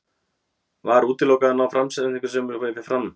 Var útilokað að ná samningum við Fram?